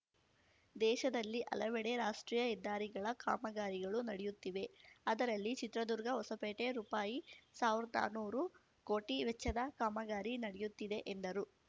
ದೇಶದಲ್ಲಿ ಹಲವೆಡೆ ರಾಷ್ಟ್ರೀಯ ಹೆದ್ದಾರಿಗಳ ಕಾಮಗಾರಿಗಳು ನಡೆಯುತ್ತಿವೆ ಅದರಲ್ಲಿ ಚಿತ್ರದುರ್ಗಹೊಸಪೇಟೆ ರುಪಾಯಿಸಾವ್ರ್ದ್ ನಾನ್ನೂರು ಕೋಟಿ ವೆಚ್ಚದ ಕಾಮಗಾರಿ ನಡೆಯುತ್ತಿದೆ ಎಂದರು